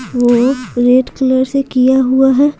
वो red colour से किया हुआ है।